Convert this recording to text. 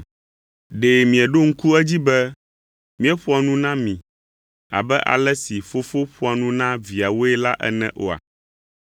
Ɖe mieɖo ŋku edzi be, míeƒoa nu na mi abe ale si fofo ƒoa nu na viawoe la ene oa?